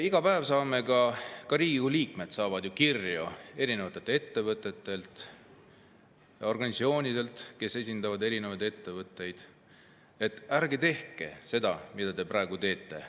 Iga päev saavad Riigikogu liikmed kirju ettevõtetelt ja organisatsioonidelt, kes esindavad erinevaid ettevõtteid, et ärge tehke seda, mida te praegu teete.